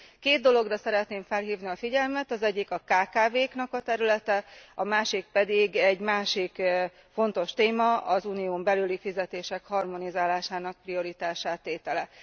Két dologra szeretném felhívni a figyelmet az egyik a kkv knak a területe, a másik pedig egy másik fontos téma, az unión belüli fizetések harmonizálásának prioritássá tétele.